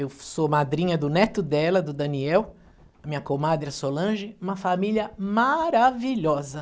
Eu sou madrinha do neto dela, do Daniel, minha comadre Solange, uma família maravilhosa.